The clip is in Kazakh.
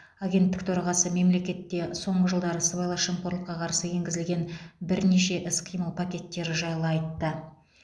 агенттік төрағасы мемлекетте соңғы жылдары сыбайлас жемқорлыққа қарсы енгізілген бірнеше іс қимыл пакеттері жайлы айтты